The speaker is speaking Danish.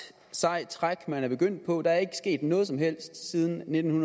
sejt træk man er begyndt på der er ikke sket noget som helst siden nitten